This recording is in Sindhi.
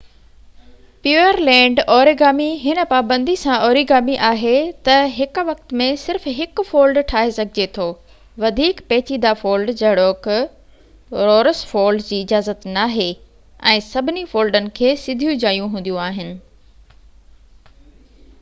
پيورلينڊ اوريگامي هن پابندي سان اوريگامي آهي تہ هڪ وقت ۾ صرف هڪ فولڊ ٺاهي سگهجي ٿو وڌيڪ پيچيدہ فولڊ جهڙوڪ رورس فولڊ جي اجازت ناهي ۽ سڀني فولڊن کي سڌيون جايون هونديون آهن